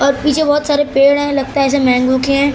और पीछे बहुत सारे पेड़ हैं लगता हैं ऐसे मैंगो के हैं।